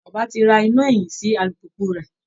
Bàbá ti ra iná ẹ̀yìn sí alùpùpù rẹ̀